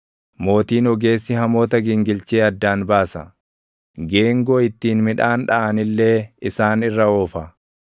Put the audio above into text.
Mootiin ogeessi hamoota gingilchee addaan baasa; geengoo ittiin midhaan dhaʼan illee isaan irra oofa.